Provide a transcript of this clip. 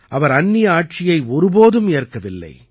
அவர் அந்நிய ஆட்சியை ஒருபோதும் ஏற்கவில்லை